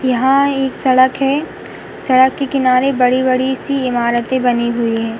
यहाँ एक सड़क है। सड़क के किनारे बड़ी-बड़ी सी इमारतें बनी हुई हैं।